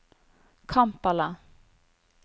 Kampala